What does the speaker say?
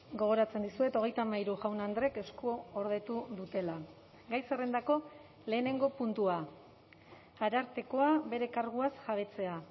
gogoratzen dizuet hogeita hamairu jaun andrek eskuordetu dutela gai zerrendako lehenengo puntua arartekoa bere karguaz jabetzea